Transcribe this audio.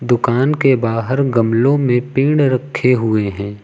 दुकान के बाहर गमलों में पेड़ रखे हुए हैं।